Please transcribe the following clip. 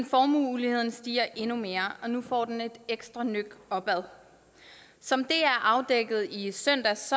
formueuligheden stiger endnu mere og nu får den et ekstra nøk opad som dr afdækkede i søndags